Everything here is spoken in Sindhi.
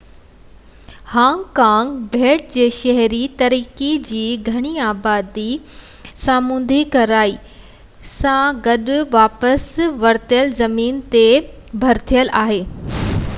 هانگ ڪانگ ٻيٽ جي شهري ترقی جی گھڻي آبادي اترهين سامونڊي ڪناري سان گڏ واپس ورتل زمين تي ڀريل آهي